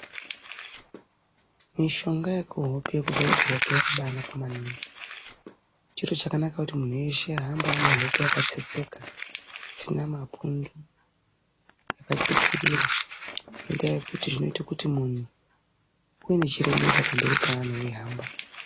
Mishonge yekuhope ,yekuzore kuhope yakbaanaka maningi chiro chakanaka kuti munhu weshe ahambe anehope yakatsetseka isina mapundu yakatsvukirira ,ngendaa yekuti zvinoite kuti munhu uve nechiremerera pamberi peanhu weihamba.